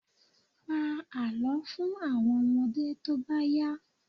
Pa àlọ́ fún àwọn ọmọdé tó bá yá.